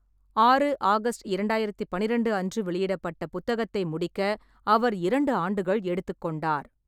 ஆறு ஆகஸ்ட் இரண்டாயிரத்து பனிரெண்டு அன்று வெளியிடப்பட்ட புத்தகத்தை முடிக்க அவர் இரண்டு ஆண்டுகள் எடுத்துக்கொண்டார்.